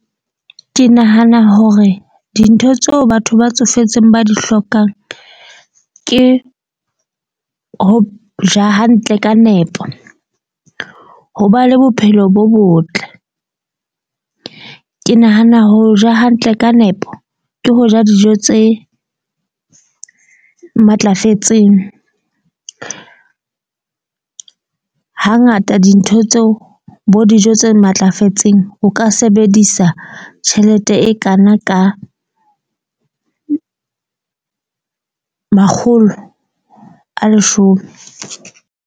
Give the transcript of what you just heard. Ke nahana hore dintho tseo batho ba tsofetseng ba di hlokang, ke ho ja hantle ka nepo, ho ba le bophelo bo botle. Ke nahana ho ja hantle ka nepo ke ho ja dijo tse matlafetseng. Hangata dintho tseo bo dijo tse matlafetseng. O ka sebedisa tjhelete e kana ka makgolo a leshome.